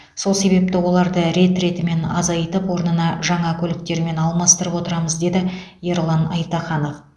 сол себепті оларды рет ретімен азайтып орнын жаңа көліктермен алмастырып отырамыз деді ерлан айтаханов